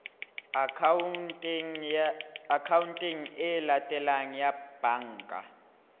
akhaonteng e latelang ya banka